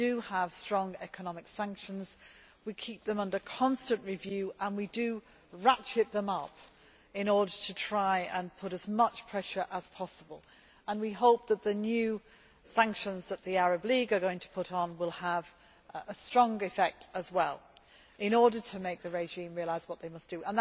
We have strong economic sanctions, we keep them under constant review and we ratchet them up in order to try to put on as much pressure as possible. We hope that the new sanctions that the Arab League are going to put on will also have a strong effect in order to make the regime realise what they must do.